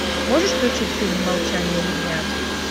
можешь включить фильм молчание ягнят